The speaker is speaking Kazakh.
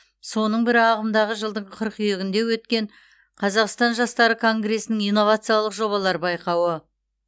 соның бірі ағымдағы жылдың қыркүйегінде өткен қазақстан жастары конгресінің инновациялық жобалар байқауы